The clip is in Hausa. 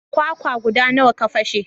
Kwakwa guda nawa ka fashe?